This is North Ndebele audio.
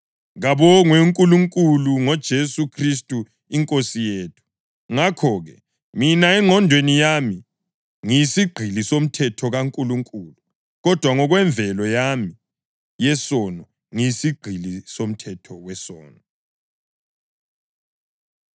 Kabongwe uNkulunkulu ngoJesu Khristu iNkosi yethu! Ngakho-ke, mina engqondweni yami ngiyisigqili somthetho kaNkulunkulu, kodwa ngokwemvelo yami yesono ngiyisigqili somthetho wesono.